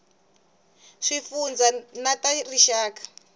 ta swifundzha na ta rixaka